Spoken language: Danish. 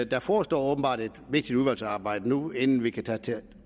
der forestår åbenbart et vigtigt udvalgsarbejde nu inden vi kan tage